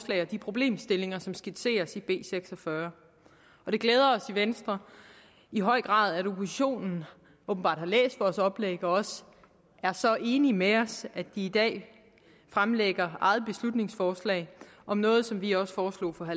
de problemstillinger som skitseres i b seks og fyrre og det glæder os i venstre i høj grad at oppositionen åbenbart har læst vores oplæg og også er så enige med os at de i dag fremlægger eget beslutningsforslag om noget som vi også foreslog for